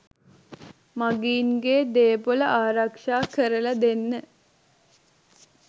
මගීන්ගේ දේපොළ ආරක්ෂා කරල දෙන්න